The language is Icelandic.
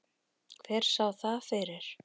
Hver sá það fyrir?